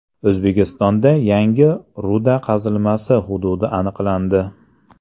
O‘zbekistonda yangi ruda qazilmasi hududi aniqlandi.